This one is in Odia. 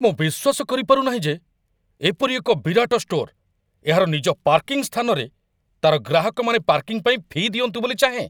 ମୁଁ ବିଶ୍ୱାସ କରିପାରୁ ନାହିଁ ଯେ ଏପରି ଏକ ବିରାଟ ଷ୍ଟୋର୍‌ ଏହାର ନିଜ ପାର୍କିଂ ସ୍ଥାନରେ ତା'ର ଗ୍ରାହକମାନେ ପାର୍କିଂ ପାଇଁ ଫି' ଦିଅନ୍ତୁ ବୋଲି ଚାହେଁ!